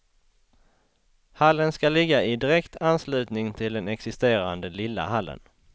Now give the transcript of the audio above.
Hallen ska ligga i direkt anslutning till den existerande lilla hallen.